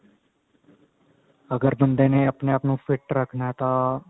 ਅਗਰ ਬੰਦੇ ਨੇ ਆਪਣੇ ਆਪ ਨੂੰ fit ਰਖਣਾ ਤਾਂ